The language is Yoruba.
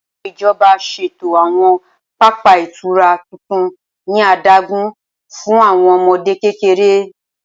Awọn ijọba ṣeto awọn papa itura tuntun ni adagun fun awọn ọmọde kekere.